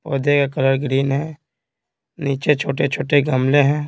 पौधे का colour green है नीचे छोटे-छोटे गमले हैं।